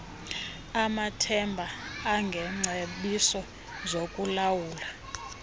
amathemba engengcebiso zokulawulwa